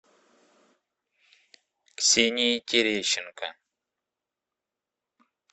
ксении терещенко